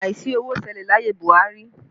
Àìsí owó ṣẹlẹ̀ láyé Buhari